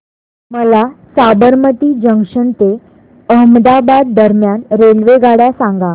मला साबरमती जंक्शन ते अहमदाबाद दरम्यान रेल्वेगाड्या सांगा